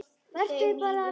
Vertu bara léttur!